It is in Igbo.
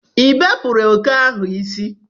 ịbepụrụ oke ahụ isi?